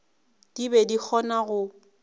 di be di kgona go